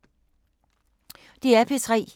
DR P3